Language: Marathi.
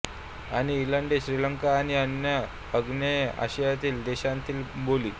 आणि इलङ्गै श्रीलंका आणि अन्य आग्नेय आशियातील देशांतील बोली